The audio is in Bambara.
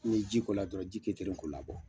N ye ji k'o la dɔrɔn, ji kɛ ke di k'o labɔ.